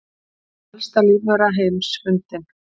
Elsta lífvera heims fundin